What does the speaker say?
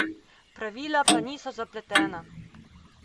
Pravila pa niso zapletena.